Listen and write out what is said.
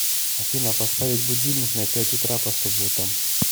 афина поставить будильник на пять утра по субботам